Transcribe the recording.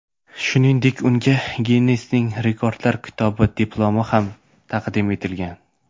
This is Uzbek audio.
Shuningdek, unga Ginnesning Rekordlar kitobi diplomi ham taqdim etilgan.